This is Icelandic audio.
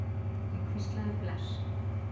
Ég hvíslaði bless.